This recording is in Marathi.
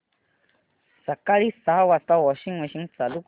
सकाळी सहा वाजता वॉशिंग मशीन चालू कर